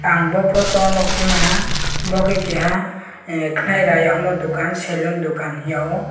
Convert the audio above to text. ang bo photo o nogpi maha bo ke keha kenai raya wngmo dokan selon dokan hingyo.